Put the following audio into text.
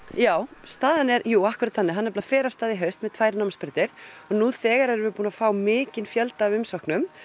já staðan er akkúrat þannig að hann fer af stað í haust með tvær námsbrautir og nú þegar erum við búin að fá mikinn fjölda af umsóknum